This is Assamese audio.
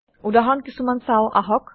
উদাহৰণ কিছোমান চাওঁ আহক